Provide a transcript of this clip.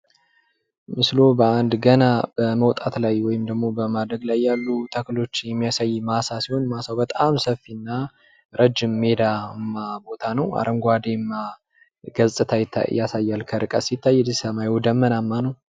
ምስሉ በአንድ ገና በመውጣት ላይ ወይም ደግሞ በማደግ ላይ ተክሎች የሚያሳይ ማሳ ሲሆን ማሳው በጣም ሰፊ እና ረጅም ሜዳማ ቦታ ነው አረንጓዲያማ ገፅታ ያሳያል ከርቀት ሲታይ ሰማዩ ደመናማ ነው ።